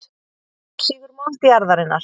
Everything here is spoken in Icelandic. Hún sýgur mold jarðarinnar.